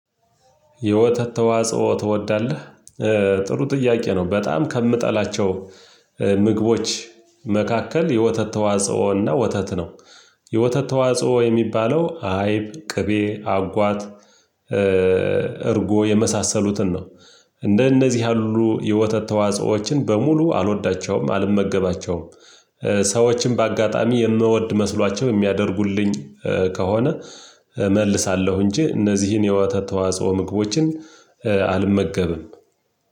የወተት ተዋጽኦ ትወዳለህ? ጥሩ ጥያቄ ነው። በጣም ከምጠላቸው ምግቦች መካከል የወተት ተዋጽኦ እና ወተት ነው። የወተት ተዋጽኦ የሚባለው አይብ ቅቤ አጓት እርጎ የመሳሰሉትን ነው። እንደነዚህ ያሉ የወተት ተዋጽኦዎችን በሙሉ አልወዳቸውም አልመገባቸውም። ሰዎችን በአጋጣሚ የምወድ መስሏቸው የሚያደርጉልኝ ከሆነ እመልሳለሁ እንጂ እነዚህን የወተት ተዋጽኦ ምግቦችን አልመገብም።